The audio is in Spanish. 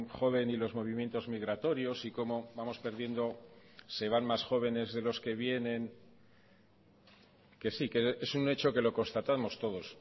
joven y los movimientos migratorios y cómo vamos perdiendo se van más jóvenes de los que vienen que sí que es un hecho que lo constatamos todos